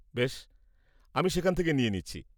বেশ, আমি সেখান থেকে নিয়ে নিচ্ছি।